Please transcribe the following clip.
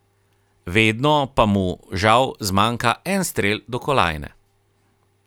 Vedno pa mu, žal, zmanjka en strel do kolajne.